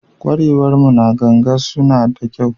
Ƙwarewar mu na ganga suna da kyau.